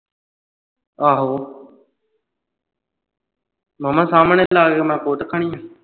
ਆਹੋ ਮਾਮਾ ਸਾਹਮਣੇ ਲਾ ਕੇ ਮੈਂ ਕੁੱਟ ਖਾਣੀ ਆ